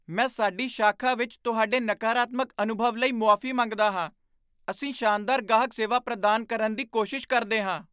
ਮੈਂ ਸਾਡੀ ਸ਼ਾਖਾ ਵਿੱਚ ਤੁਹਾਡੇ ਨਕਾਰਾਤਮਕ ਅਨੁਭਵ ਲਈ ਮੁਆਫ਼ੀ ਮੰਗਦਾ ਹਾਂ। ਅਸੀਂ ਸ਼ਾਨਦਾਰ ਗਾਹਕ ਸੇਵਾ ਪ੍ਰਦਾਨ ਕਰਨ ਦੀ ਕੋਸ਼ਿਸ਼ ਕਰਦੇ ਹਾਂ,